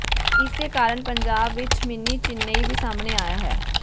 ਇਸੇ ਕਾਰਨ ਪੰਜਾਬ ਵਿੱਚ ਮਿੰਨੀ ਚੇਨਈ ਵੀ ਸਾਹਮਣੇ ਆਇਆ ਹੈ